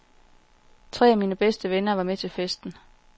Tre af mine bedste venner var med til festen.